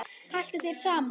Haltu þér saman